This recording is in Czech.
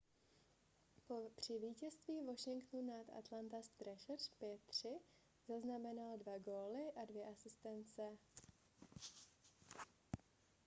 při vítězství washingtonu nad atlanta trashers 5-3 zaznamenal 2 góly a 2 asistence